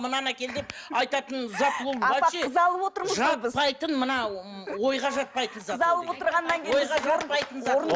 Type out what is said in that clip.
мынаны әкел деп айтатын зат ол жатпайтын мына ойға жатпайтын зат